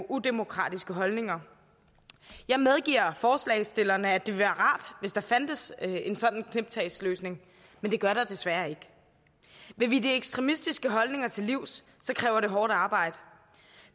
udemokratiske holdninger jeg medgiver forslagsstillerne at det ville være rart hvis der fandtes en sådan snuptagsløsning men det gør der desværre ikke vil vi de ekstremistiske holdninger til livs kræver det hårdt arbejde